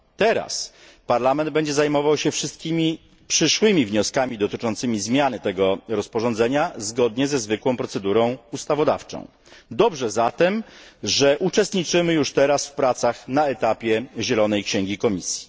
Teraz Parlament będzie zajmował się wszystkimi przyszłymi wnioskami dotyczącymi zmiany tego rozporządzenia zgodnie ze zwykłą procedurą ustawodawczą. Dobrze zatem, że uczestniczymy już teraz w pracach na etapie zielonej księgi Komisji.